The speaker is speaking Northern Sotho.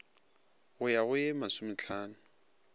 go ya go ye masomehlano